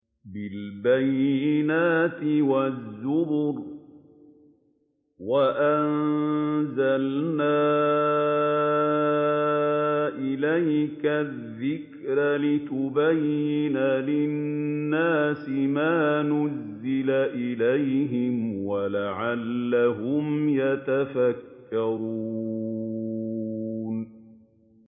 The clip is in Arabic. بِالْبَيِّنَاتِ وَالزُّبُرِ ۗ وَأَنزَلْنَا إِلَيْكَ الذِّكْرَ لِتُبَيِّنَ لِلنَّاسِ مَا نُزِّلَ إِلَيْهِمْ وَلَعَلَّهُمْ يَتَفَكَّرُونَ